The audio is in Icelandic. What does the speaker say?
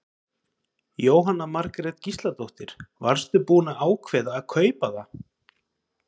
Jóhanna Margrét Gísladóttir: Varstu búinn að ákveða að kaupa það?